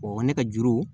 ne ka juru